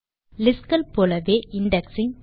list கள் போலவே indexing